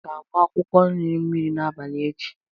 Ọ ga-agba akwụkwọ nri mmiri n'abalị echi?